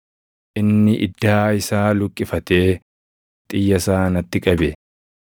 Inni iddaa isaa luqqifatee xiyya isaa natti qabe.